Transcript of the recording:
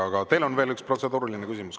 Aga teil on veel üks protseduuriline küsimus.